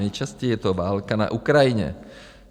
Nejčastěji je to válka na Ukrajině.